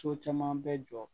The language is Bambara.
So caman bɛ jɔ